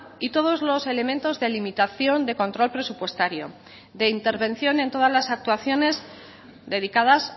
y todos los elementos de limitación de control presupuestario de intervención en todas las actuaciones dedicadas